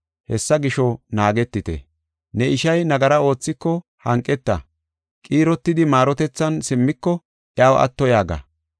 Hessa gisho naagetite. “Ne ishay nagara oothiko hanqeta; qiirotidi maarotethan simmiko, iyaw atto yaaga.